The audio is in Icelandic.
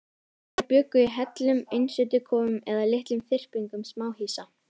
Þeir bjuggu í hellum, einsetukofum eða litlum þyrpingum smáhýsa.